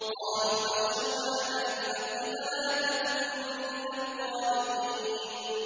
قَالُوا بَشَّرْنَاكَ بِالْحَقِّ فَلَا تَكُن مِّنَ الْقَانِطِينَ